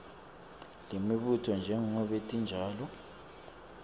lemibuto njengobe tinjalo